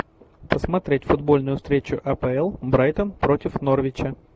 посмотреть футбольную встречу апл брайтон против норвича